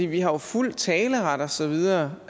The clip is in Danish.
vi har jo fuld taleret og så videre